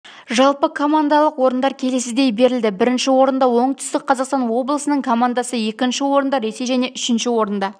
жалпыкомандалық орындар келесідей берілді бірінші орында оңтүстік қазақстан облысының командасы екінші орында ресей және үшінші орында